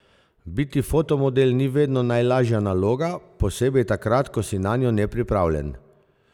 Biti fotomodel ni vedno najlažja naloga, posebej takrat, ko si nanjo nepripravljen.